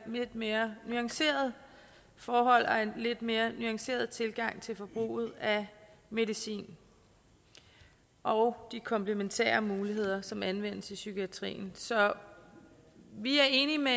lidt mere nuanceret forhold og en lidt mere nuanceret tilgang til forbruget af medicin og de komplementære muligheder som anvendes i psykiatrien så vi er enige med